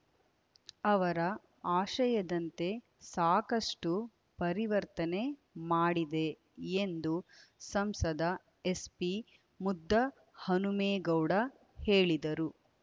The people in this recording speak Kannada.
ಅವರ ಆಶಯದಂತೆ ಸಾಕಷ್ಟು ಪರಿವರ್ತನೆ ಮಾಡಿದೆ ಎಂದು ಸಂಸದ ಎಸ್ಪಿ ಮುದ್ದಹನುಮೇಗೌಡ ಹೇಳಿದರು